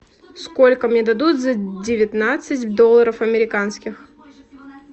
сколько мне дадут за девятнадцать долларов американских